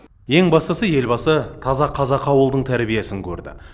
ең бастысы елбасы таза қазақы ауылдың тәрбиесін көрді